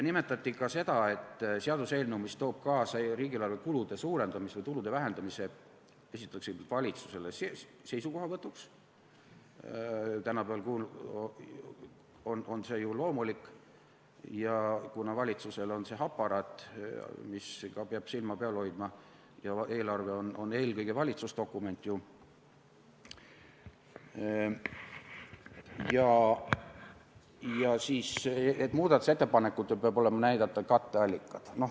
Nimetati ka seda, et seaduseelnõu, mis toob kaasa riigieelarve kulude suurendamise ja tulude vähendamise, esitatakse valitsusele seisukohavõtuks ja muudatusettepanekutes peavad olema näidatud katteallikad.